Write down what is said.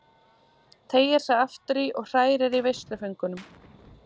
Teygir sig aftur í og hrærir í veisluföngunum.